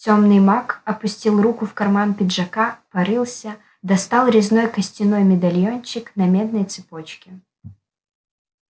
тёмный маг опустил руку в карман пиджака порылся достал резной костяной медальончик на медной цепочке